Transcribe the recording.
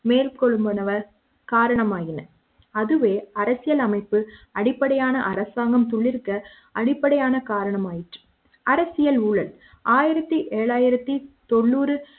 மேற்கொள்வன காரணமாகின அதுவே அரசியலமைப்பு அடிப்படையான அரசாங்கம் துளிர்க்க அடிப்படையான காரணம் ஆயிற்று அரசியல் ஊழல் ஆயிரத்து எழுநூற்று தொண்ணூறு